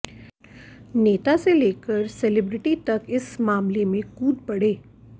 नेता से लेकर सेलिब्रिटी तक इस मामले में कूद पड़े